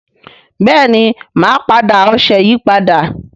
bẹẹni má dá ọṣẹ yí pàdà